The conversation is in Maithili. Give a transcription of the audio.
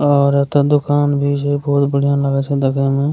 और ओते दोकान भी छै बहुत बढ़िया लागे छै देखे मे।